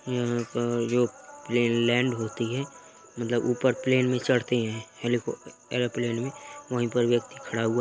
जो plane land होती हैं मतलब ऊपर प्लान में चढ़ते हैं हेलिको एरोप्लेन में वही पर व्यक्ति खड़ा हुआ है।